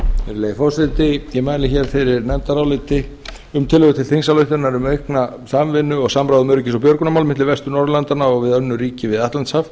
virðulegi forseti ég mæli fyrir nefndaráliti um tillögu til þingsályktunar um aukna samvinnu og samráð um öryggis og björgunarmál milli vestur norðurlandanna og við önnur ríki við atlantshaf